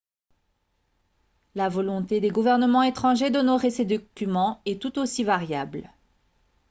la volonté des gouvernements étrangers d'honorer ces documents est tout aussi variable